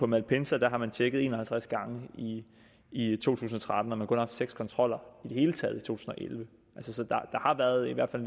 malpensa har man tjekket en og halvtreds gange i i to tusind og tretten og man har kun haft seks kontroller i det hele taget i to tusind og elleve så der har været i hvert fald